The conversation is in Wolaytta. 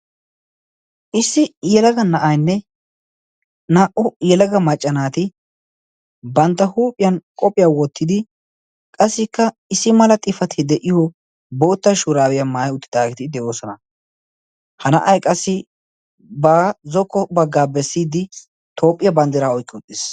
issi yalaga na7ainne naa77u yalaga maccanaati bantta huuphiyan qophphiyaa wottidi qassikka issi mala xifati de7iyo bootta shuraabiyaa maayi uttidaagidi de7oosona. ha na7ai qassi ba zokko baggaa bessiiddi toophphiyaa banddiraa oikki utiis.